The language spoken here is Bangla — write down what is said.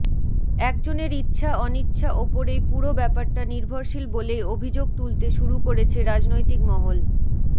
এক জনের ইচ্ছা অনিচ্ছা ওপরেই পুরো ব্যাপারটা নির্ভরশীল বলেই অভিযোগ তুলতে শুরু করেছে রাজনৈতিক মহল